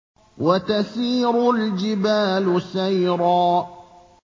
وَتَسِيرُ الْجِبَالُ سَيْرًا